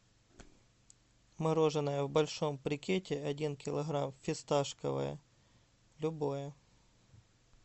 мороженое в большом брикете один килограмм фисташковое любое